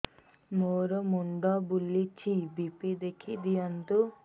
ମୋର ମୁଣ୍ଡ ବୁଲେଛି ବି.ପି ଦେଖି ଦିଅନ୍ତୁ